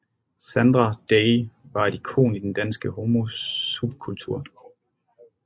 Sandra Day var et ikon i den danske homosubkultur